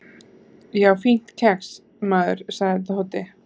"""Já, fínt kex, maður sagði Tóti."""